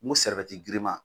N ko girinman